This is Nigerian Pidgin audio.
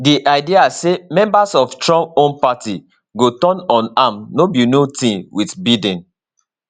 di idea say members of trump own party go turn on am no be new tin wit biden